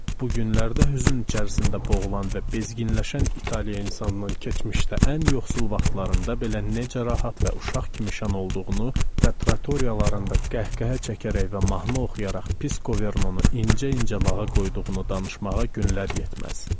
Bu günlərdə hüzün içərisində boğulan və bezginləşən İtaliya insanının keçmişdə ən yoxsul vaxtlarında belə necə rahat və uşaq kimi şən olduğunu və tratoriyalarında qəhqəhə çəkərək və mahnı oxuyaraq Piskovernonu incə-incə lağa qoyduğunu danışmağa günlər yetməz.